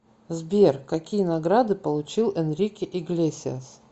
сбер какие награды получил энрике иглесиас